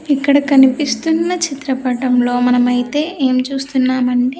ఇక్కడ కనిపిస్తున్న చిత్రపటంలో మనమైతే ఏం చూస్తున్నామం--